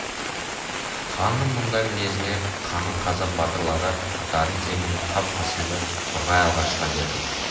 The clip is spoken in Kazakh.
ханның мұндай мінезіне қанық қазақ батырлары аттарын тебініп қап қасымды қорғай алға шыға берді